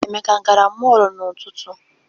Emeka agara mọọlụ n'ụtụtụ?